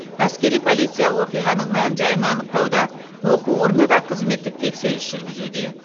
әскери полиция оқиғаның мән жайын анықтауда оқу орны да қызметтік тексеріс жүргізуде